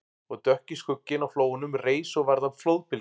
Og dökki skugginn á flóanum reis og varð að flóðbylgju